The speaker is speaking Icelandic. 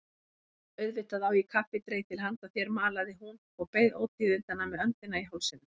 Auðvitað á ég kaffidreitil handa þér malaði hún og beið ótíðindanna með öndina í hálsinum.